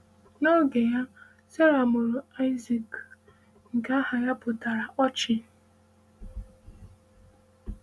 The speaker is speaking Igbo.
N’oge ya, Sara mụrụ Aịzik, nke aha ya pụtara “Ọchị.”